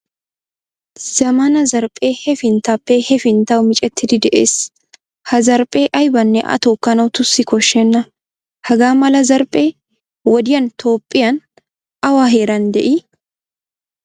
Zammaana zarphphee hafinttappe hefinttawu miccettidi de'ees. Ha zarphphee aybanne a tookanawu tussi koshshenna. Hagamala zarphphee wodiyan toophphiyan awa heeran de'i?